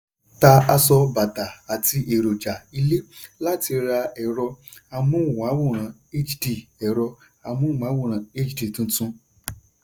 "tà aṣọ bàtà àti èròja ilé láti ra ẹ̀rọ-amóhùnmáwòrán hd ẹ̀rọ-amóhùnmáwòrán hd tuntun."